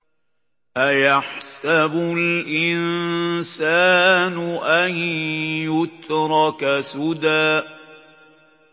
أَيَحْسَبُ الْإِنسَانُ أَن يُتْرَكَ سُدًى